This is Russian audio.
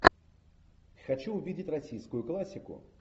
хочу увидеть российскую классику